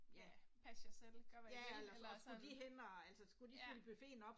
Ja, pas jer selv, gør hvad I vil eller sådan. Ja